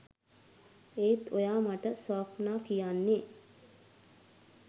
ඒත් ඔයා මට ස්වප්නා කියන්නේ